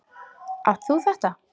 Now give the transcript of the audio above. Átt þú þetta?